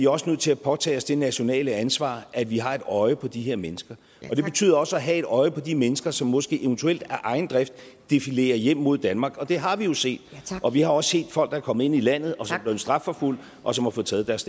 også nødt til at påtage os det nationale ansvar at vi har et øje på de her mennesker og det betyder også at have et øje på de mennesker som måske eventuelt af egen drift defilerer hjem mod danmark det har vi jo set og vi har også set folk der er kommet ind i landet og som er blevet strafforfulgt og som har fået taget deres